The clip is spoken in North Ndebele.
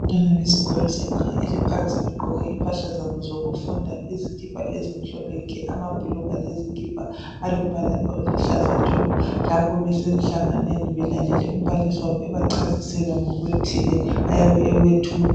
Abantwana besikolo sebanga eliphansi begqoke impahla zabo zokufunda, izikipa ezimhlophe nke, amabhulugwe lezikipa alobala oluhlaza tshoko lapho besenhlanganweni belalele umbalisi wabo ebachasisela ngokuthile ayabe ekwethula.